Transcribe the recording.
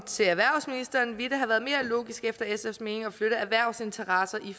til erhvervsministeren ville det have været mere logisk efter sfs mening at flytte erhvervsinteresser i